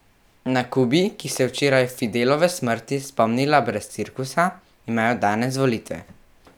Na Kubi, ki se je včeraj Fidelove smrti spomnila brez cirkusa, imajo danes volitve.